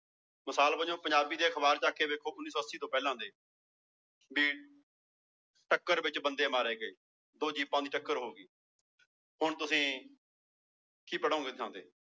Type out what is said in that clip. ਮਿਸਾਲ ਵਜੋਂ ਪੰਜਾਬੀ ਦੇ ਅਖ਼ਬਾਰ ਚੁੱਕ ਕੇ ਵੇਖੋ ਉੱਨੀ ਸੌ ਅੱਸੀ ਤੋਂ ਪਹਿਲਾਂ ਦੇ ਵੀ ਟੱਕਰ ਵਿੱਚ ਬੰਦੇ ਮਾਰੇ ਗਏ ਦੋ ਜੀਪਾਂ ਦੀ ਟੱਕਰ ਹੋ ਗਈ ਹੁਣ ਤੁਸੀਂ ਕੀ ਪੜ੍ਹੋਂਗੇ ਉਹਦੀ ਥਾਂ ਤੇ